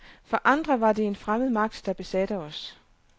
For andre var det en fremmed magt, der besatte os.